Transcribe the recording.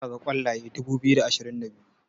za ka ga kwalaye dubu biyu da ashirin da biyu